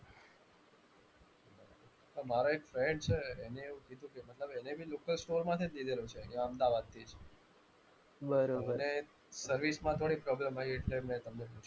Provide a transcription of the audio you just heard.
તમારે એક friend છે. એણે એવું કીધું કે મતલબ એણે બી local store માંથી જ લીધેલું છે અમદાવાદથી. સર્વિસમાં થોડી problem આવી એટલે મેં તમને કીધુ.